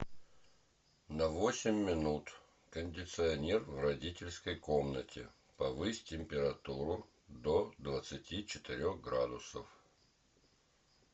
на восемь минут кондиционер в родительской комнате повысь температуру до двадцати четырех градусов